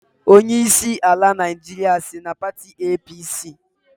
Onyeisi ala Naịjirịa si na pati APC